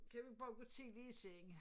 Kan vi bare gå tidligt i seng